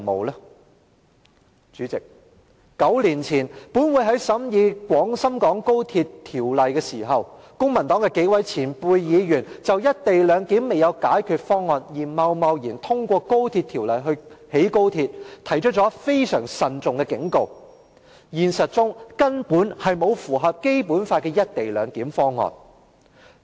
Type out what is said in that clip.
代理主席 ，9 年前，本會在審議廣深港高速鐵路香港段工程項目時，公民黨幾位前輩議員曾就"一地兩檢"未有解決方案而貿然通過興建高鐵的計劃，提出了非常慎重的警告：現實中根本沒有符合《基本法》的"一地兩檢"方案。